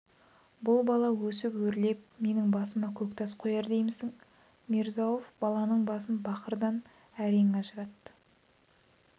бұл бала өсіп өрлеп менің басыма көк тас қояр деймісің мирза-ауф баланың басын бақырдан әрең ажыратты